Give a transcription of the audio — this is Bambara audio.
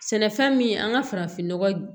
Sɛnɛfɛn min an ka farafinnɔgɔ